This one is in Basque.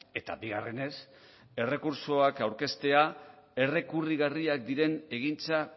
eta bigarrenez errekurtsoak aurkeztea errekurrigarriak diren egintza